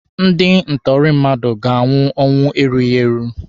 Ndị ntụrụ mmadụ ga-anwụ ọnwụ erughi eru.